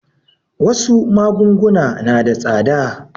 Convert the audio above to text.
Wasu magunguna na da tsada.